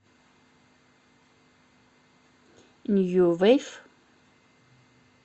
нью вейв